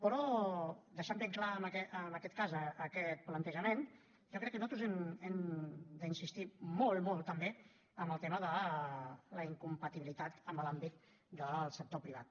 però deixant ben clar en aquest cas aquest plantejament jo crec que nosaltres hem d’insistir molt molt també en el tema de la incompatibilitat en l’àmbit del sector privat